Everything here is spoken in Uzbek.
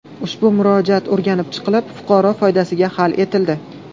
Ushbu murojaat o‘rganib chiqilib, fuqaro foydasiga hal etildi.